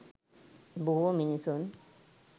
බොහෝ මිනිසුන්